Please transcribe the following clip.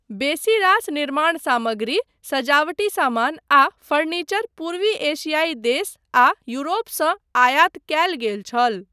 बेसी रास निर्माण सामग्री, सजावटी समान आ फर्नीचर पूर्वी एशियाई देश आ यूरोपसँ आयात कयल गेल छल।